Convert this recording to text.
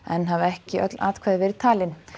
enn hafa ekki öll atkvæði verið talin